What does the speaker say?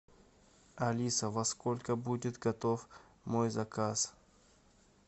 алиса во сколько будет готов мой заказ